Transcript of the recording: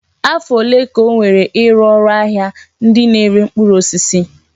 Afọ ole ka o were ịrụ ụlọ ahịa ndị na-ere mkpụrụ osisi?